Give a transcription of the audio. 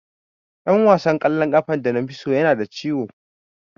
Dan wasan kwallon kafa da nafi so yana da ciwo.